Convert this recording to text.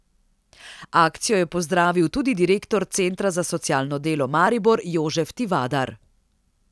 Akcijo je pozdravil tudi direktor Centra za socialno delo Maribor Jožef Tivadar.